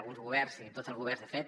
alguns governs i tots els governs de fet